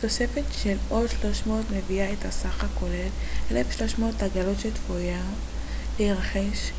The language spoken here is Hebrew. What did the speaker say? תוספת של עוד 300 מביאה את הסך הכולל ל-1300 עגלות שצפויות להירכש